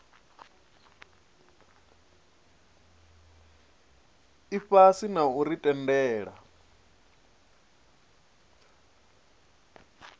ifhasi na u ri tendela